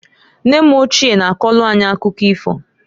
Nne m ochie na-akọlụ anyị akụkọ ifo.